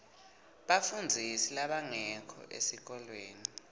bafundzisi labangekho esikolweni